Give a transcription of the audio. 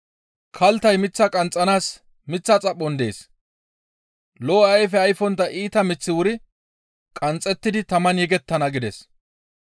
Kalttay mith qanxxanaas miththa xaphon dees. Lo7o ayfe ayfontta iita miththi wuri qanxxettidi taman yegettana» gides.